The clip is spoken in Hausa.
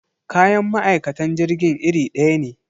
Kayan ma'aikatan jirgin irin daya ne.